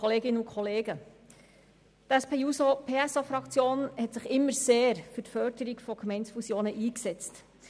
Die SP-JUSO-PSA-Fraktion hat sich immer sehr für die Förderung von Gemeindefusionen eingesetzt.